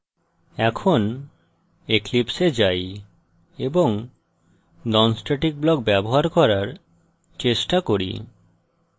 এখন eclipse এ যাই এবং নন স্ট্যাটিক ব্লক ব্যবহার করার চেষ্টা করি